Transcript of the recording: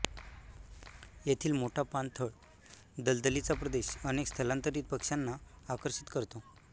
येथील मोठा पाणथळ दलदलीचा प्रदेश अनेक स्थलांतरीत पक्ष्यांना आकर्षित करतो